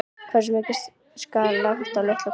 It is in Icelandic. Hversu mikið skal lagt á litla konu úr sveit?